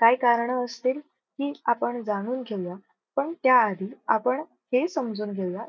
काय कारण असतील? ही आपण जाणून घेऊया. पण त्या आधी आपण हे समजून घेऊया